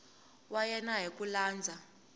wa yena hi ku landza